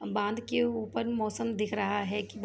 । बांध के ऊपर मौसम दिख रहा हैकी--